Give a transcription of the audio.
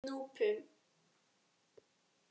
Núpum